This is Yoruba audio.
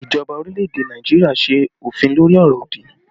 Ìjọba orílẹ̀ èdè Nàìjíríà ṣe òfin lórí ọ̀rọ̀ òdì